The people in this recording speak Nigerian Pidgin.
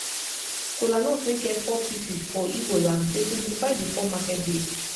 kolanut wey get four pieces for igbo land dey signify di four market days